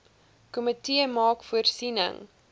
komitee maak voorsiening